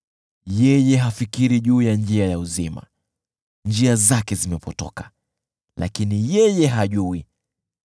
Yeye hafikiri juu ya njia ya uzima; njia zake zimepotoka, lakini yeye hajui.